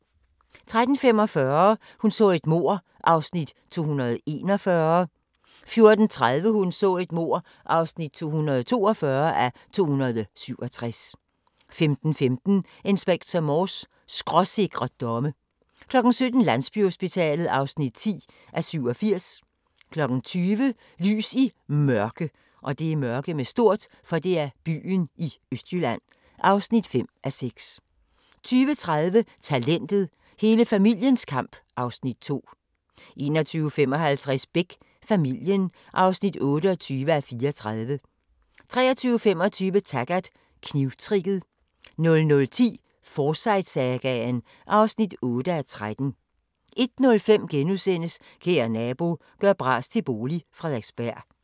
13:45: Hun så et mord (241:267) 14:30: Hun så et mord (242:267) 15:15: Inspector Morse: Skråsikre domme 17:00: Landsbyhospitalet (10:87) 20:00: Lys i Mørke (5:6) 20:30: Talentet – hele familiens kamp (Afs. 2) 21:55: Beck: Familien (28:34) 23:25: Taggart: Knivtricket 00:10: Forsyte-sagaen (8:13) 01:05: Kære nabo – gør bras til bolig – Frederiksberg *